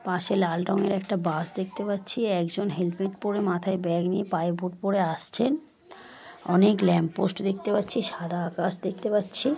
পাশে লাল রঙের একটা বাস দেখতে পাচ্ছি। একজন হেলমেট পরে মাথায় ব্যাগ নিয়ে পায়ে বুট পরে আসছেন। অনেক ল্যাম্প পোস্ট দেখতে পাচ্ছি সাদা আকাশ দেখতে পাচ্ছি।